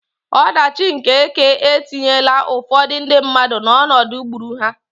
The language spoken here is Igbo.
Ọdachi nke ekè etinyela ụfọdụ ndị mmadụ n'ọnọdụ gburu ha.